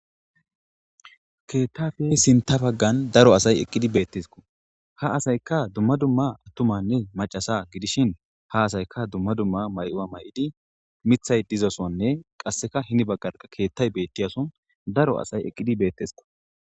Keettafe sinta baggan daro asay eqqidi beettesko ha asayka dumma dumma attumanne macasa gidishin ha asayka dumma dumma may'ua may'idi mithay dizasonne qasseka hinibaggarqa keettay beettiyason daro asay eqqidi beettesiko.